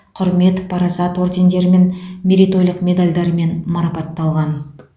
құрмет парасат ордендерімен мерейтойлық медальдармен марапатталған